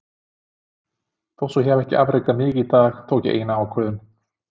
Þó svo ég hafi ekki afrekað mikið í dag, tók ég eina ákvörðun.